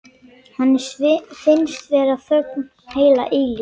Henni finnst vera þögn heila eilífð.